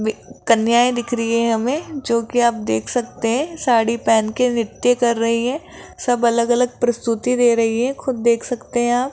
वे कन्याएं दिख रही है हमे जोकि आप देख सकते है साड़ी पहन के नृत्य कर रही है सब अलग अलग प्रस्तुति दे रही है खुद देख सकते है आप --